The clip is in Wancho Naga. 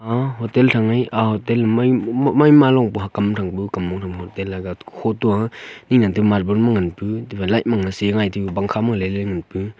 ma hotel thang ye a hotel maima maima longpu hakam thangpu kammong thangpu ate light khoto a ning nan tipu marbel mang ngan pu tiphai light sey ngai tipu pankha min leyley nganpu.